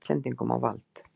Íslendingum á vald.